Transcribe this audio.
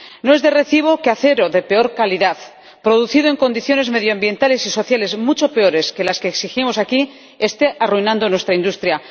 No es de recibo que un acero de peor calidad, producido en condiciones medioambientales y sociales mucho peores que las que exigimos aquí, esté arruinando nuestra industria.